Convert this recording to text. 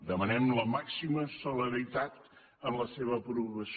demanem la màxima celeritat en la seva aprovació